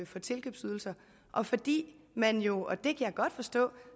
få tilkøbsydelser og fordi man jo og det kan jeg godt forstå